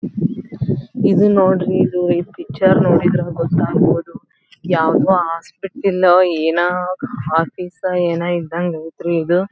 ಇದು ನೋಡ್ರಿ ಇದು ಈ ಪಿಕ್ಚರ್ ನೋಡಿದ್ರೆ ಗೊತ್ತಾಗೋದು ಯಾವುದೊ ಹಾಸ್ಪಿಟಲ್ ಏನ ಆಫೀಸ್ ಏನ ಇದ್ದಂಗ ಐತ್ರಿ ಇದು.